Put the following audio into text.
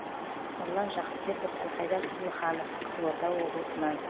нұрлан жақыпбеков әлхайдар тұрлыханов қызылорда облысынан